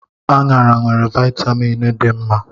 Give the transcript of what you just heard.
Aṅara nwere vitamịn dị mma.